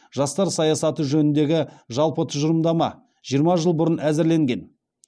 жастар саясаты жөніндегі жалпы тұжырымдама жиырма жыл бұрын әзірленген